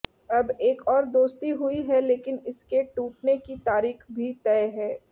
अब एक और दोस्ती हुई है लेकिन इसके टूटने की तारीख भी तय है